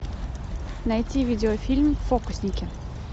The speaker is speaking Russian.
найти видеофильм фокусники